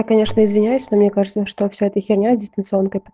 я конечно извиняюсь но мне кажется что все это херня с дистанционкой